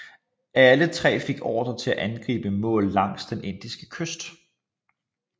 Alle tre fik ordre til at angribe mål langs den indiske kyst